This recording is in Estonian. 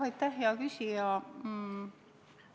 Aitäh, hea küsija!